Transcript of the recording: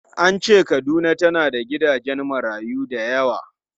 An ce Kaduna tana da gidajen marayu da yawa.